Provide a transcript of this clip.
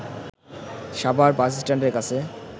সাভার বাসস্ট্যান্ডের কাছে